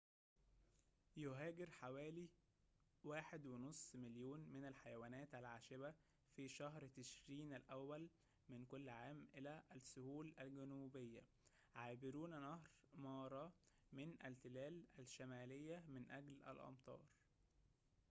يهاجر حوالي 1.5 مليون من الحيوانات العاشبة في شهر تشرين الأول من كل عام إلى السهول الجنوبية عابرون نهر مارا من التلال الشمالية من أجل الأمطار